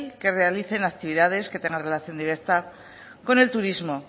que realicen actividades que tengan relación directa con el turismo